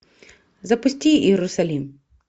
запусти иерусалим